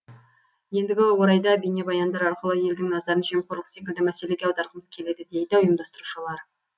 ендігі орайда бейнебаяндар арқылы елдің назарын жемқорлық секілді мәселеге аударғымыз келеді дейді ұйымдастырушылар